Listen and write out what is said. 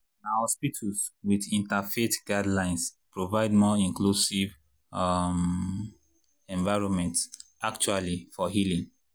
na hospitals with interfaith guidelines provide more inclusive um environments actually for healing.